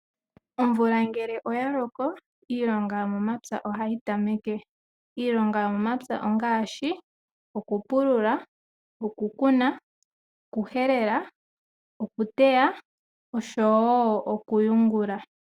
Omvula ngele oya loko iilonga yomomapya ohayi tameke. Iilonga yomomapya ongaashi okupulula, okukuna, okuhelela, okuteya oshowo okuyungula.